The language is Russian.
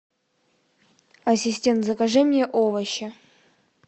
ассистент закажи мне овощи